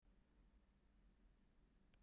Hún bar engan árangur